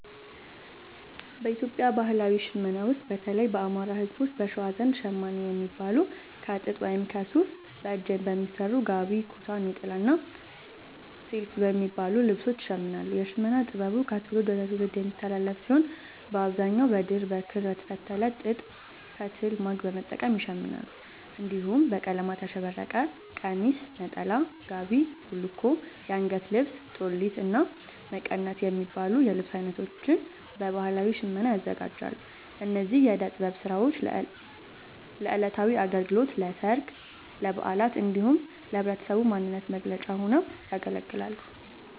በኢትዮጵያ ባህላዊ ሽመና ውስጥ፣ በተለይም የአማራ፣ ህዝቦች(በሸዋ) ዘንድ ‘ሸማኔ’ የሚባሉት ከጥጥ ወይም ከሱፍ በእጅ በሚሰሩ ‘ጋቢ’፣ ‘ኩታ’፣ ‘ኔጣላ’ እና ‘ቲልፍ’ የሚባሉ ልብሶችን ይሽምናሉ። የሽመና ጥበቡ ከትውልድ ወደ ትውልድ የሚተላለፍ ሲሆን፣ በአብዛኛው በድር፣ በክር፣ በተፈተለ ጥጥ ፈትል(ማግ) በመጠቀም ይሸምናሉ። እንዲሁም በቀለማት ያሸበረቀ ቀሚስ፣ ነጠላ፣ ጋቢ፣ ቡልኮ፣ አንገት ልብስ(ጦሊት)፣እና መቀነት የሚባሉ የልብስ አይነቶችን በባህላዊ ሽመና ያዘጋጃሉ። እነዚህ የእደ ጥበብ ስራዎች ለዕለታዊ አገልግሎት፣ ለሠርግ፣ ለበዓላት እንዲሁም ለህብረተሰቡ ማንነት መገለጫ ሆነው ያገለግላሉ።